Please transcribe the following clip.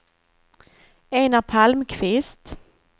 Enar Palmqvist